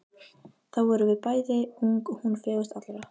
Þá vorum við bæði ung og hún fegurst allra.